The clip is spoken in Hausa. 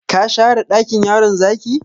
Ka share dakin yaron zaki?